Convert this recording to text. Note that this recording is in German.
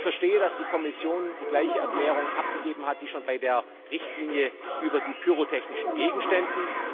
Ich verstehe, dass die Kommission die gleiche Erklärung abgegeben hat wie schon bei der Richtlinie über die pyrotechnischen Gegenstände.